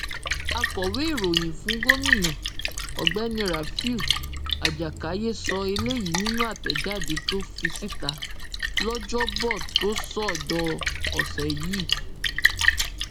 akọwé ìròyìn fún gómìnà ọgbẹni rafiu ajákáyé sọ eléyìí nínú àtẹjáde tó fi síta lọjọbọtòsọdọọ ọsẹ yìí